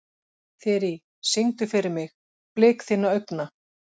Þyri, syngdu fyrir mig „Blik þinna augna“.